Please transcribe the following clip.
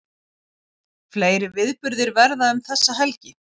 Fleiri viðburðir verða um þessa helgi